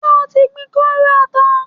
Ṣé o ti gbin kóóró ata?